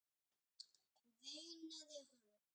veinaði hún.